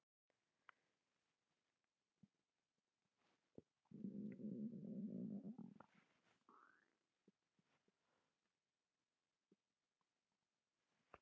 Meðal froskdýra og fiska fer frjóvgunin fram utan líkama móður.